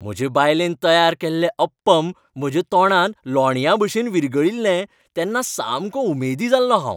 म्हजे बायलेन तयार केल्लें अप्पम म्हज्या तोंडांत लोण्याभशेन विरघळील्लें तेन्ना सामको उमेदी जाल्लों हांव.